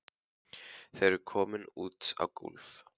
Þau eru komin út á gólf.